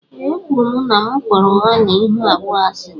Ee e kwụrụ m na m kpọrọ ụgha na ịhụ abụọ asi.